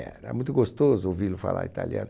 Era muito gostoso ouvi-lo falar italiano.